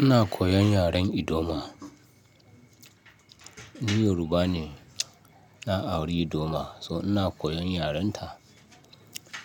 Ina koyan yaren ldoma. Ni Yoruba ne, na auri ldoma so ina koyan yarenta.